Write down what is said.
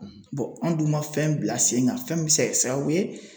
an dun ma fɛn bila sen kan fɛn min bɛ se ka kɛ sababu ye